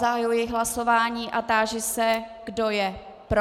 Zahajuji hlasování a táži se, kdo je pro.